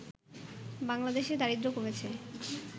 বাংলাদেশে দারিদ্র কমেছে